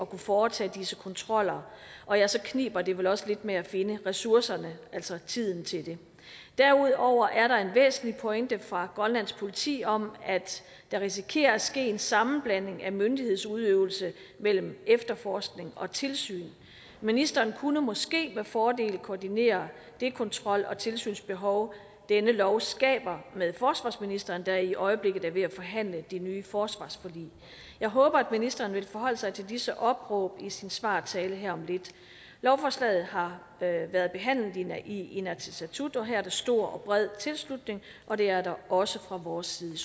kunne foretage disse kontroller og ja så kniber det vel også lidt med at finde ressourcerne altså tiden til det derudover er der en væsentlig pointe fra grønlands politi om at der risikerer at ske en sammenblanding af myndighedsudøvelse mellem efterforskning og tilsyn ministeren kunne måske med fordel koordinere det kontrol og tilsynsbehov denne lov skaber med forsvarsministeren der i øjeblikket er ved forhandle det nye forsvarsforlig jeg håber at ministeren vil forholde sig til disse opråb i sin svartale her om lidt lovforslaget har været behandlet i inatsisartut og her er der stor og bred tilslutning og det er der også fra vores side